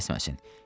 tələsməsin.